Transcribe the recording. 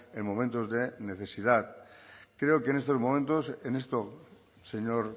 en momentos de necesidad creo que en estos momentos en esto señor